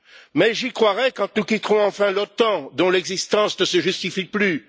Mais j'y croirai quand nous quitterons enfin l'OTAN, dont l'existence ne se justifie plus.